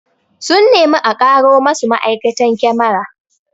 Sun nemi a karo masu ma'aikatan kyamara